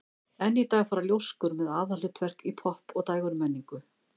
enn í dag fara ljóskur með aðalhlutverk í popp og dægurmenningu